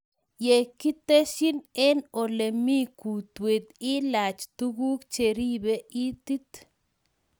Yaa kiteshin en olemii kutwet ilaach tuguuk cheribee itiit